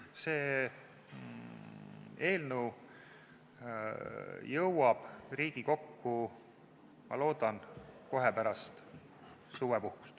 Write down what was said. See eelnõu jõuab Riigikokku, ma loodan, kohe pärast suvepuhkust.